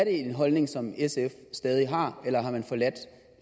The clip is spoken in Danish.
en holdning som sf stadig har eller har man forladt